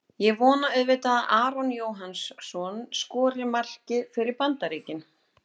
Ég vona auðvitað að Aron Jóhannsson skori markið fyrir Bandaríkin.